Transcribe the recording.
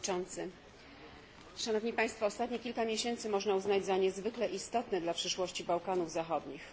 Panie Przewodniczący! Ostatnie kilka miesięcy można uznać za niezwykle istotne dla przyszłości Bałkanów Zachodnich.